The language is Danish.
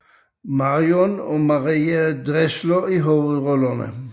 Marion og Marie Dressler i hovedrollerne